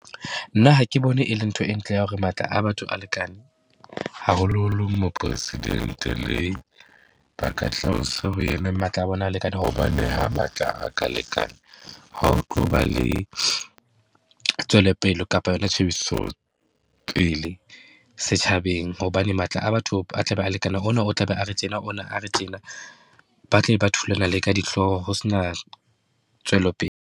Nna ha ke bone e le ntho e ntle ya hore matla a batho a lekane, haholoholo Mopresidente le ba ka tlase ho ena. Matla a bona ha a lekane. Hobane ha matla a ka lekana, ha ho tlo ba le tswelopele kapa yona tjhebiso pele setjhabeng. Hobane matla a batho a tlabe a lekana, ho na o tla be a re tjena, ona a re tjena. Ba tla be ba thulana ka dihloho ho se na tswelopele.